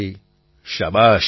પ્રધાનમંત્રી શાબાશ